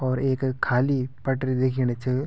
और ऐक खाली पटरी दिखेणि च।